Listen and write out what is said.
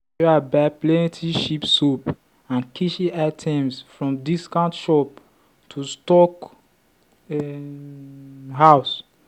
sarah buy plenty cheap soap and kitchen items from discount shop to stock um house.